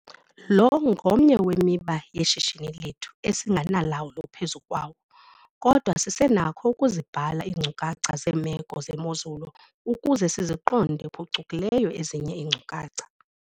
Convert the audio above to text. Lo ngomnye wemiba yeshishini lethu esingenalawulo phezu kwawo. Kodwa sisenakho ukuzibhala iinkcukacha zeemeko zemozulu ukuze siziqonde phucukileyo ezinye iinkcukacha.